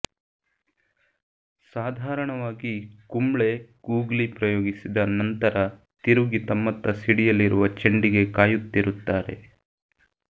ಸಾಧಾರಣವಾಗಿ ಕುಂಬ್ಳೆ ಗೂಗ್ಲಿ ಪ್ರಯೋಗಿಸಿದ ನಂತರ ತಿರುಗಿ ತಮ್ಮತ್ತ ಸಿಡಿಯಲಿರುವ ಚೆಂಡಿಗೆ ಕಾಯುತ್ತಿರುತ್ತಾರೆ